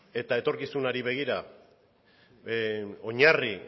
eta etorkizunari begira oinarri